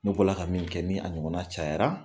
Ne bɔla ka min kɛ ni a ɲɔgɔn cayara